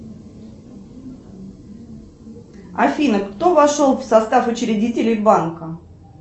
афина кто вошел в состав учредителей банка